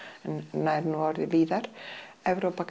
nær nú orðið víðar Evrópa